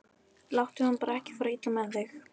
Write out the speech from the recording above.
Láttu hana bara ekki fara illa með þig.